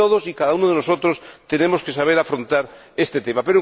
todos y cada uno de nosotros tenemos que saber afrontar este tema.